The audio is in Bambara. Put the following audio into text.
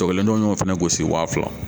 y'o fana gosi waa fila